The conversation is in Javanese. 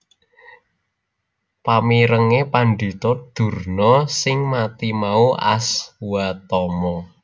Pamirenge Pandhita Durna sing mati mau Aswatama